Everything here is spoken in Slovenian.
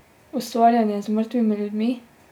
Ustvarjanje z mrtvimi ljudmi?